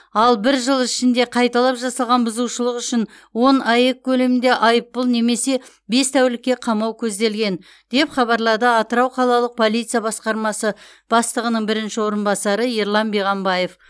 ал бір жыл ішінде қайталап жасалған бұзушылық үшін он аек көлемінде айыппұл немесе бес тәулікке қамау көзделген деп хабарлады атырау қалалық полиция басқармасы бастығының бірінші орынбасары ерлан биғамбаев